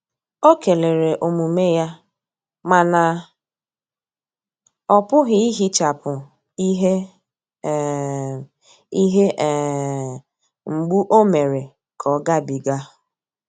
Ọ kelere omume ya, mana ọpughi ihechapu ihe um ihe um mgbu o mere ka ọ ga bi ga.